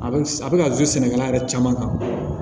A bɛ a bɛ ka sɛnɛkɛla yɛrɛ caman kan